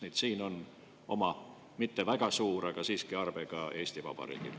Nii et siin on oma arve – mitte väga suur, aga siiski arve – ka Eesti Vabariigil.